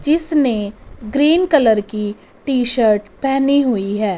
जिसने green colour की T shirt पहनी हुई है।